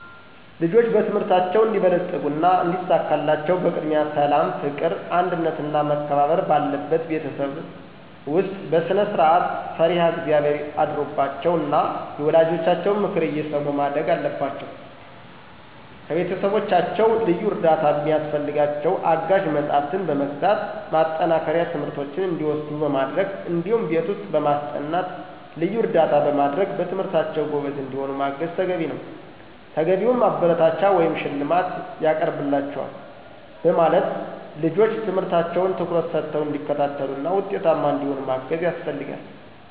ልጆች በትምህርታቸው እንዲበለጽጉና እንዲሳካላቸው በቅድሚያ ሠላም፣ ፍቅር፣ አንድነትና መከባበር ባለበት ቤተሰብ ውስጥ በስነስርዓት፣ ፈሪሀ እግዚአብሔር አድሮባቸው ና የወላጆቻቸውን ምክር እየሰሙ ማደግ አለባቸው። ከቤተሰቦቻቸው ልዩ እርዳታ ሚያስፈልጋቸው አጋዥ መጽሐፍትን በመግዛት፣ ማጠናከሪያ ትምህርቶችን እንዲወስዱ በማድረግ እዲሁም ቤት ውስጥ በማስጠናት ልዩ እርዳታ በማድረግ በትምህርታቸው ጎበዝ እንዲሆኑ ማገዝ ተገቢ ነዉ። ተገቢውን ማበረታቻ ወይም ሽልማት ይቀርብላችኋል በማለት ልጆች ትምህርታቸውን ትኩረት ሰተው እንዲከታተሉና ውጤታማ እንዲሆኑ ማገዝ ያስፈልጋል።